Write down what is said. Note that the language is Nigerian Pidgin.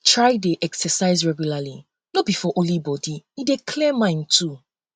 try de exercise regularly no be for only body um e dey clear mind too